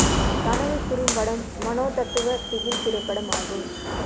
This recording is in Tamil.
கனவு குறும்படம் மனோதத்துவ திகில் திரைப்படம் ஆகும்